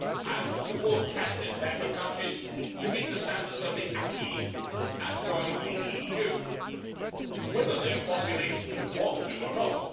and to support candidate member countries to meet the standards of the acquis and join the EU, whether their populations want to or not.